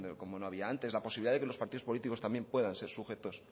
como no había antes la posibilidad de que los partidos políticos puedan ser sujetos